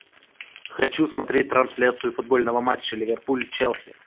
хочу смотреть трансляцию футбольного матча ливерпуль челси